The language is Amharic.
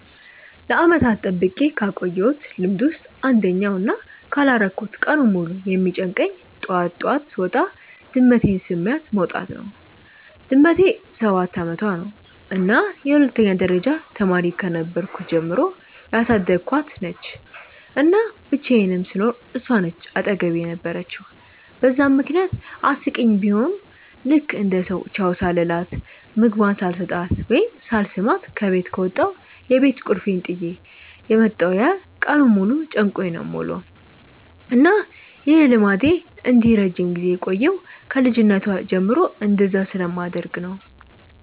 ለዓመታት ጠብቄ ካቆየውት ልምድ ውስጥ አንደኛው እና ካላረኩት ቀኑን ሙሉ የሚጨንቀኝ ጠዋት ጠዋት ስወጣ ድመቴን ስሚያት መውጣት ነው። ድመቴ ሰባት አመቷ ነው እና የሁለተኛ ደረጃ ተማሪ ከነበርኩ ጀምሮ ያሳደኳት ነች፤ እና ብቻየንም ስኖር እሷ ነች አጠገቤ የነበረችው በዛም ምክንያት አስቂኝ ቡሆም ልክ እንደ ሰው ቻው ሳልላት፣ ምግቧን ሳልሰጣት ወይም ሳልስማት ከበት ከወጣው የቤት ቁልፌን ጥየ የመጣው ያህል ቀኑን ሙሉ ጨንቆኝ ነው የምውለው። እና ይህ ልምዴ እንዲህ ረጅም ጊዜ የቆየው ከ ልጅነቷ ጀምሮ እንደዛ ስለማደርግ ነው።